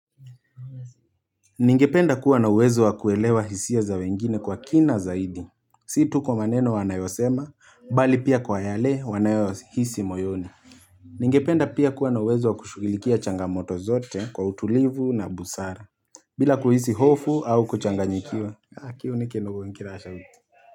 Ningependa kuwa na uwezo wa kuelewa hisia za wengine kwa kina zaidi Si tu kwa maneno wanayosema bali pia kwa yale wanayohisi moyoni Ningependa pia kuwa na uwezo wa kushugilikia changamoto zote kwa utulivu na busara bila kuhisi hofu au kuchanganyikiwa.